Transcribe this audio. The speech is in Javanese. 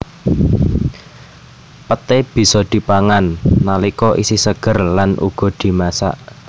Peté bisa dipangan nalika isih seger lan uga dimasak